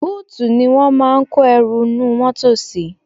Bóòtù ni wọ́n máa ń kó ẹrù inú mọ́tọ̀ sí.